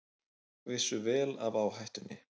Vissu vel af áhættunni